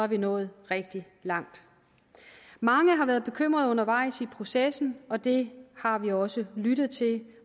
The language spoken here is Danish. vi nået rigtig langt mange har været bekymrede undervejs i processen og det har vi også lyttet til